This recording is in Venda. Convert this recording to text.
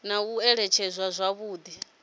na u alutshedzwa zwavhudi ha